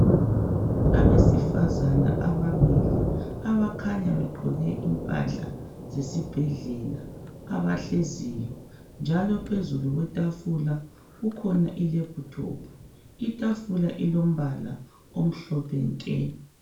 Abesifazana ababili abakhanya begqoke impahla zesibhedlela abahleziyo njalo phezulu kwetafula kukhona ilephuthophu itafula ilombala omhlophe nke.